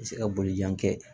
Se ka bolijan kɛ